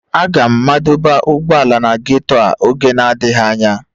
Aga m madọba ụgbọala na ghetto a n'oge adịghị anya